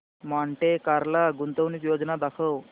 Monte Carlo गुंतवणूक योजना दाखव